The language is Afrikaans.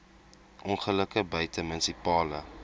ongelukke buite munisipale